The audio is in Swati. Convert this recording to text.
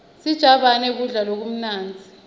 sijabane kudla lokumnandzi